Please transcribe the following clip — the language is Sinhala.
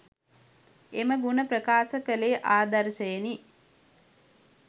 එම ගුණ ප්‍රකාශ කළේ ආදර්ශයෙනි.